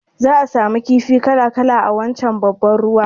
Za'a samu kifi kala-kala a wancan babban ruwan